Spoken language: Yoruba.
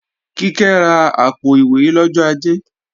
Kíkẹ́ ra àpò-ìwé lọ́jọ́ Ajé